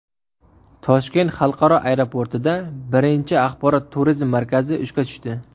Toshkent xalqaro aeroportida birinchi Axborot-turizm markazi ishga tushdi.